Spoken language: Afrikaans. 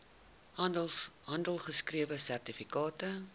handgeskrewe sertifikate